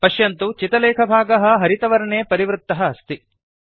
पश्यन्तु चितलेखभागः हरितवर्णे परिवृत्तः अस्ति